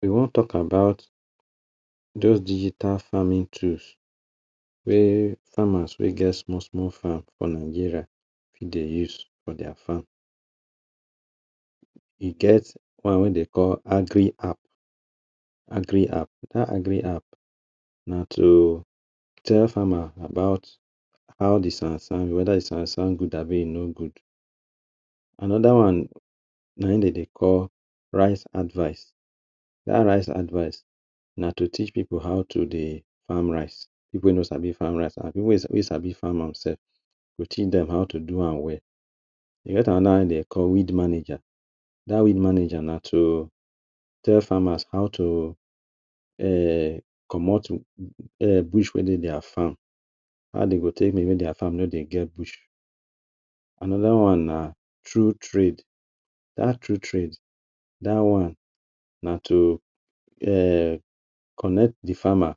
We wan talk about those digital farming tools wey farmers wey get small small farm for Nigeria fit dey use for their farm. E get one wey dey call Agriapp Agriapp, dat Agriapp na to tell farmer about how de sand sand whether de sand sand good abii e no good. Another one na im dem dey call Rice advice. Dat rice advice na to teach pipu how to dey farm rice, pipu wey no sabi farm rice and pipu wey sabi farm am sef, e go teach dem how to do am well. E get another one wey dem dey call weed manager. Dat weed manager na to tell farmers how to um comot um bush wey dey their farm, how dey go take dey do there farm make e no dey get bush. Another one na true trade. Dat true trade dat one na to um connect de farmers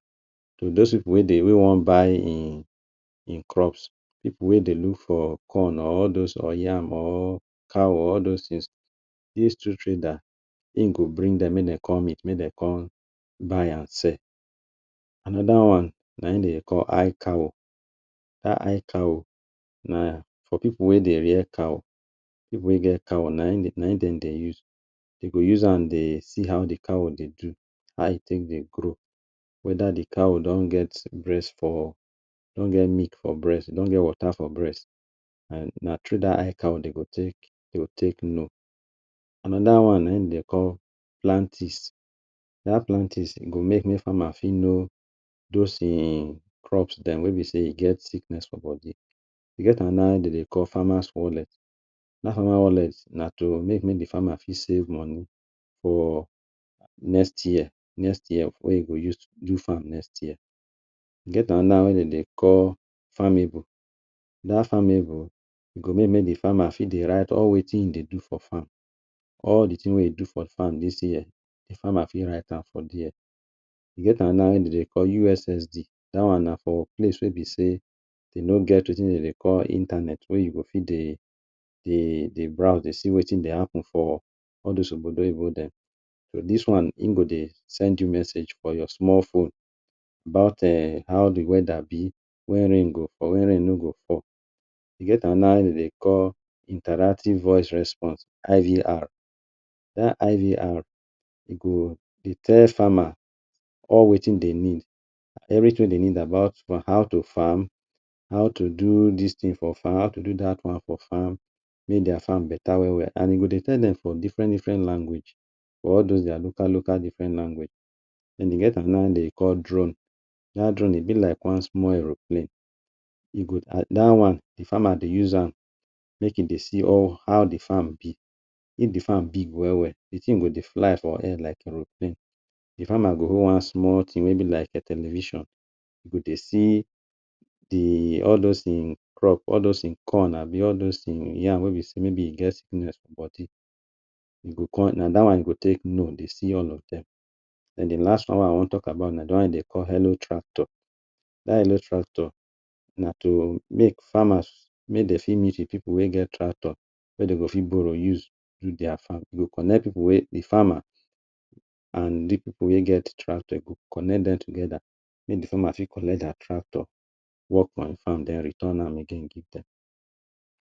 to those pipu wey dey wey one buy im im crops, pipu wey dey look for corn or all those or yam or cow or all those things, dis two trader im go bring dem make dem come meet, make dem come buy and sell. Another one na im dem dey call ICow. Dat ICow na for pipu wey dey rear cow, pipu wey dey get cow na im dey na im dem dey use. Dey go use am dey see how de cow dey do, how e take dey grow whether de cow don get breast for, don get milk for breast don get water for breast na um through dat ICow dey go take to take know. Another one na im dey call Plantis. Dat Plantis go make make farmer fit know those im crops dem wey be sey e get sickness for body. E get another one dem dey call farmers owlet. Dat farmer owlet na to make make de farmer fit save money for next year next year wey e go use do farm next year. E get another one wey dem dey call Farmible. Dat Farmible e go make make de farmer fit dey write all wetin im dey do for farm, all de thing wey e do for farm dis year, de farmer fit write am for there. E get another one wey dem dey call USSD. Dat one na for place wey be sey dem no get wetin dem dey call internet wey you go fit dey dey dey browse dey see wetin dey happen for all those obodo oyibo dem. So dis one im go dey send you message for your small phone about um how de weather be, wen rain go fall, wen rain no go fall. E get another one wey dem dey call Interactive Voice Response (IVR). Dat IVR e go dey tell farmer all wetin dey need, everything wey dey need about on how to farm, how to do dis thing for farm, how to do dat one for farm, make their farm better well well and e go dey tell dem for different different language or all those their local local different language. Den dey get another one wey dem dey call Drone. Dat drone e be like one small aeroplane, e go dat one de farmers go use am make e dey see all how de farm be. If de farm big well well de thing go dey fly for air like aeroplane, de farmer go hold one small thing wey be like television, e go dey see de all those im crop all those im corn abii all those im yam wey be sey maybe e get sickness for body, e go come na dat one im go take know de see all of dem. Den dey last one wey I wan talk about na de one wey dem dey call Hello-Tractor. Dat hello-tractor na to make farmers make dem fit meet pipu wey get tractor wey dem go fit borrow use do their farm. E go connect pipu wey, de farmer and de pipu wey get tractor, e go connect dem together make de farmer fit collect their tractor work on farm den return am again give dem.